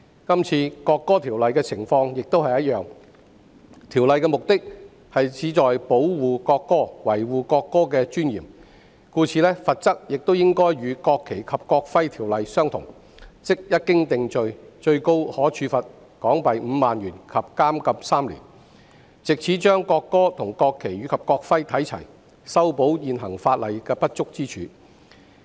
這次《條例草案》的情況相同，目的旨在保護國歌，維護國歌的尊嚴，故此，罰則亦應該與《國旗及國徽條例》相同，即一經定罪，最高可處罰款港幣5萬元及監禁3年，藉此將國歌與國旗及國徽看齊，修補現行法例的不足之處。